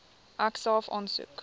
ek self aansoek